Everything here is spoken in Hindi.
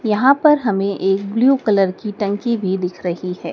यहां पर हमें एक ब्लू कलर की टंकी भी दिख रही है।